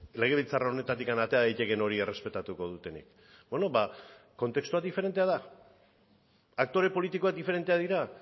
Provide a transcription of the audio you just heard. legebiltzar honetatik atera daitekeen hori errespetatuko dutenik beno ba kontestua diferentea da aktore politikoak diferenteak dira